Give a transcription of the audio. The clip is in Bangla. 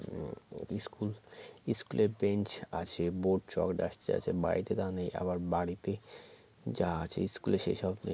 উ school school -এ bench আছে board chalk duster আছে বাড়িতে তা নেই আবার বাড়িতে যা আছে school এ সেসব নেই